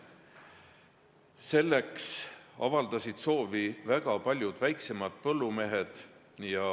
Selleks avaldasid soovi väga paljud väiksemad põllumehed.